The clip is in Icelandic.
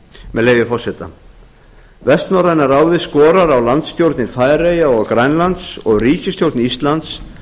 með leyfi forseta vestnorræna ráðið skorar á landsstjórnir færeyja og grænlands og ríkisstjórn íslands